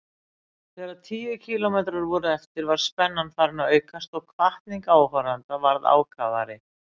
Þegar tíu kílómetrar voru eftir var spennan farin að aukast og hvatning áhorfenda varð ákafari.